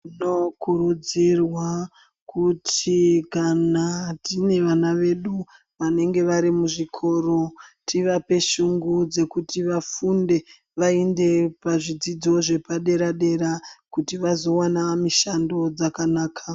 Tinokurudzirwa kuti kana tine vana vedu vanenge vari muzvikoro tivape shungu dzekuti vafunde vaende pazvidzidzo zvepadera dera. Kuti vazowana mishando dzakanaka.